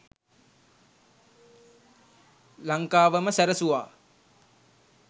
ලංකාවම සැරසුවා